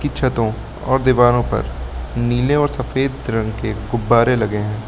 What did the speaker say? छतों और दीवारों पर नीले और सफेद रंग के गुब्बारे लगे हैं।